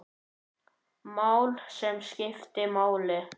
Mál, sem skiptu máli.